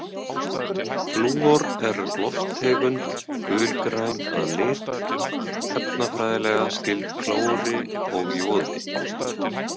Flúor er lofttegund, gulgræn að lit, efnafræðilega skyld klóri og joði.